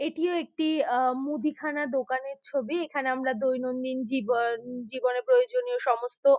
এটিও একটি আহ মুদিখানা দোকানের ছবি | এখানে আমরা দৈনন্দিন জীবন জীবনের প্রয়োজনীয় সমস্ত --